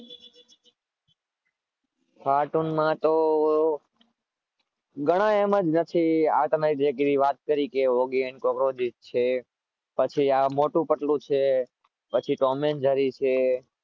કાર્ટૂનમાં તો ઘણા એમાં આ તમે જે તમે વાત કરી ઓગી એન્ડ કોકરોચ છે પછી આ મોટુ પતલુ છે, પછી ટોમ એંડ જૈરી છે.